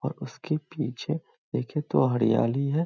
और उसके पीछे देखे तो हरियाली है।